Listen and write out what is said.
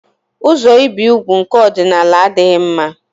Ụzọ ibi úgwù nke ọdịnala adịghị mma.